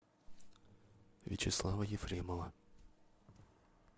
вячеслава ефремова